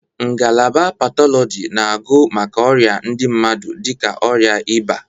Ngalaba Patọlọji na agụ maka ọrịa ndị mmadụ dịka ọrịa ịba.